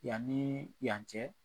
Yan ni yan cɛ.